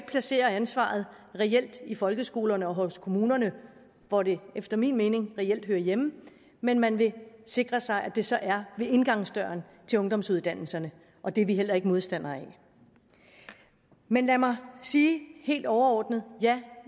placere ansvaret i folkeskolerne og hos kommunerne hvor det efter min mening reelt hører hjemme men man vil sikre sig at det så er ved indgangsdøren til ungdomsuddannelserne og det er vi heller ikke modstandere af men lad mig sige helt overordnet ja